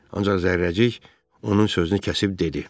Ancaq zərrəcik onun sözünü kəsib dedi.